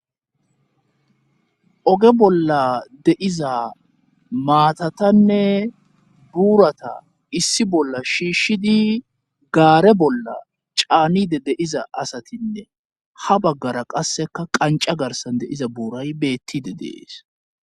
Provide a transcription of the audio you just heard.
Oge bolla de7iza maatatanne buurata issi bolla shiishshidi gaare bolla caanide de7iza asatinne ha baggara qasseka qanca garsan de7iza buuray beettide de7ees.